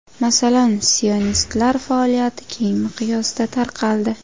Masalan, sionistlar faoliyati keng miqyosda tarqaldi.